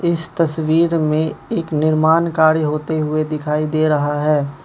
इस तस्वीर में एक निर्माण कार्य होते हुए दिखाई दे रहा है।